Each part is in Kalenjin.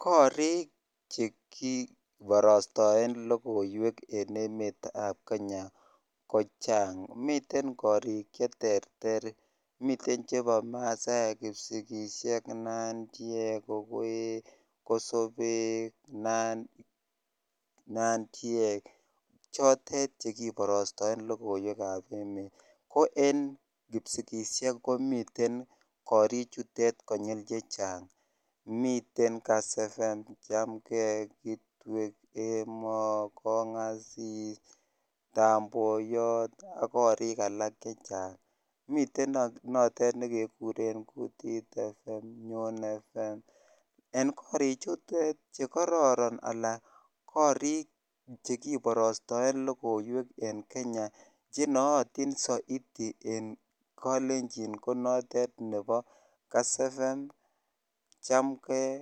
Koriik chekiparastaeen lokoweek eng kenya koterter miteen chechaang neaa koo eng kipsigisyeek komiten chamngei kitwek ak alak chechang miten nekekureen kutit fm ak alak chechang nenaat misssing eng kalenjin ko kass fm chamgei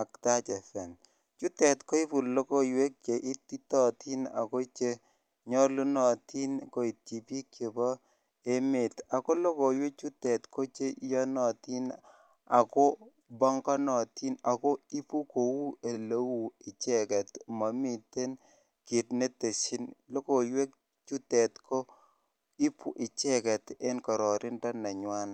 ak taach fm ikatai logoyweek chenyalunatiin ako karareen missing amun kasee chitugul ak kopa imandaa